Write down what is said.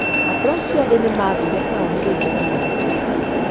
Andũ acio ethĩ nĩ maathire taũni rĩngĩ kũhoya ũteithio.